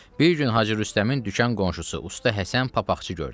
Bir gün Hacı Rüstəmin dükan qonşusu usta Həsən papaqçı gördü.